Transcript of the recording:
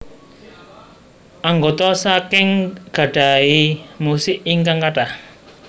Anggota saking gadhahi musik ingkang kathah